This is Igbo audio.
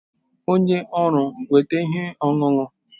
Onye ọrụ weta ihe ọṅụṅụ